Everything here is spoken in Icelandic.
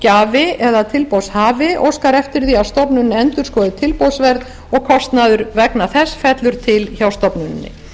þegar tilboðsgjafi eða tilboðshafi óskar eftir því að stofnunin endurskoði tilboðsverð og kostnaður vegna þess fellur til hjá stofnuninni